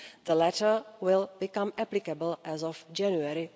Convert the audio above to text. The latter will become applicable as of January